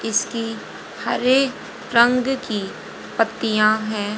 इसकी हरे रंग की पत्तीया हैं।